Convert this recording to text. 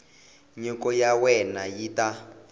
nyiko ya wena yi ta